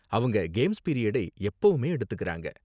அவங்க கேம்ஸ் பிரீயடை எப்பவுமே எடுத்துக்கறாங்க.